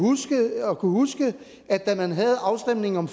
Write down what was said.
huske at da man havde afstemningen om